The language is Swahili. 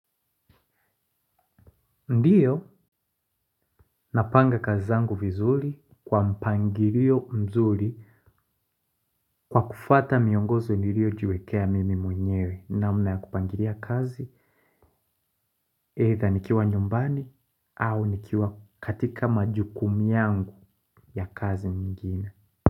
Ndiyo, napanga kazi zangu vizuri kwa mpangirio mzuri kwa kufata miongozo niriojiwekea mimi mwenyewe namna ya kupangiria kazi, either nikiwa nyumbani au nikiwa katika majukumu yangu ya kazi mingin.